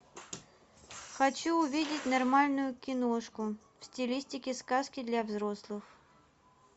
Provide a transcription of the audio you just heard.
хочу увидеть нормальную киношку в стилистике сказки для взрослых